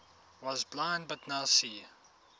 was blind but now see